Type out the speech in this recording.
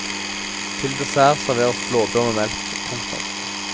Til dessert serveres blåbær med melk. punktum